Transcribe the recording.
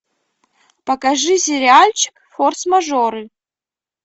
покажи сериальчик форс мажоры